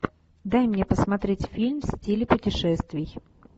дай мне посмотреть фильм в стиле путешествий